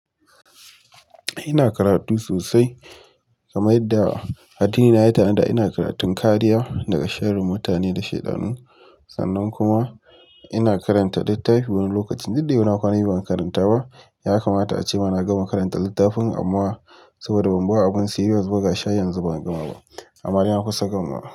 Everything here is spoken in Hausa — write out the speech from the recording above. Ina karatu sosai kamar yadda addini na ya tanada ina karatun kariya daga sharrin mutane da shaidanu. Sannan kuma ina karanta littafi wani lokacin, duk dai ina kwana biyu ban karanta ba. Ya kamata ace mana gama karanta littafin amma saboda ban bawa abun serious ba ga shi har yanzu ban gama ba. Amma dai na kusa gamawa.